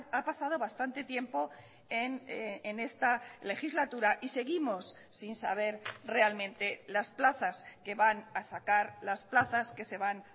ha pasado bastante tiempo en esta legislatura y seguimos sin saber realmente las plazas que van a sacar las plazas que se van